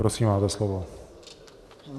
Prosím, máte slovo.